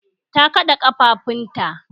Ta kaɗa ƙafafunta